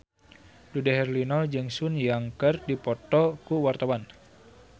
Dude Herlino jeung Sun Yang keur dipoto ku wartawan